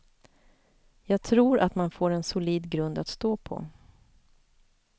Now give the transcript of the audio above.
Jag tror att man får en solid grund att stå på.